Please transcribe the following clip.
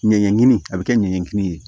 Ɲɛɲɛɲini a bɛ kɛ ɲɛɲɛkini ye